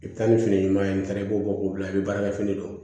I bɛ taa ni fini ɲuman ye n taara i b'o bɔ k'o bila i bɛ baarakɛ fini dɔ